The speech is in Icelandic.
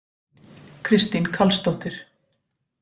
Kristín Karlsdóttir